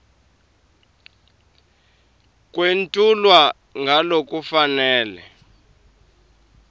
kwetfulwe ngalokufanele